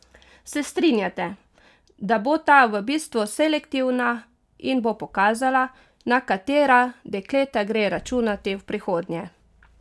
Se strinjate, da bo ta v bistvu selektivna in bo pokazala, na katera dekleta gre računati v prihodnje?